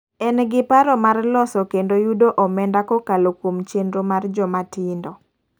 En gi paro mar lontho kendo yudo omenda kokalo kuom chenro mar joma tindo.